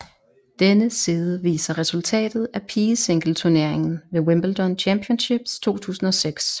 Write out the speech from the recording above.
Denne side viser resultatet af pigesingleturneringen ved Wimbledon Championships 2006